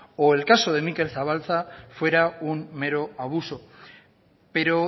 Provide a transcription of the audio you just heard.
o el caso de mikel zabalza fuera un mero abuso pero